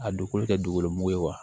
A don kolo kɛ dugukolo mugu ye wa